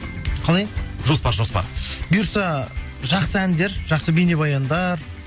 қалай жоспар жоспар бұйырса жақсы әндер жақсы бейнебаяндар